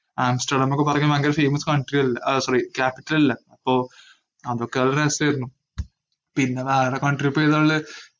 ആംസ്റ്റെർഡെന്നൊക്കെ പറഞ്ഞാ ഭയങ്കര famous country അൽ~ ആഹ് sorry capital അല്ലേ. അപ്പോ അതൊക്കെ അതൊരു രസായിരുന്നു പിന്നെ വേറ country ഇപ്പേതാളേള?